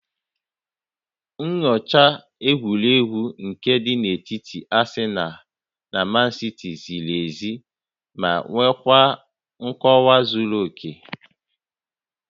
Nyochaa egwuregwu nke dị n'etiti Asịnal na Mansiti ziri ezi ma nwekwaa nkọwa zuru oke